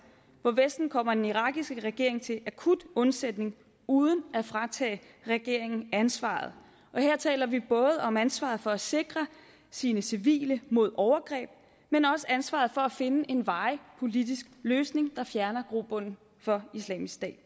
hvor vesten kommer den irakiske regering til akut undsætning uden at fratage regeringen ansvaret og her taler vi både om ansvaret for at sikre sine civile mod overgreb men også ansvaret for at finde en varig politisk løsning der fjerner grobunden for isil det